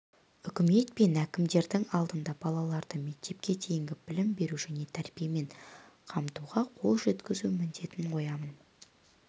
үкімет пен әкімдердің алдына балаларды мектепке дейінгі білім беру және тәрбиемен қамтуға қол жеткізу міндетін қоямын